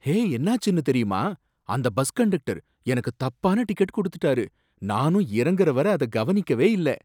ஹே! என்னாச்சுனு தெரியுமா? அந்த பஸ் கண்டக்டர் எனக்கு தப்பான டிக்கெட் கொடுத்துட்டாரு, நானும் இறங்கற வரை அத கவனிக்கவே இல்ல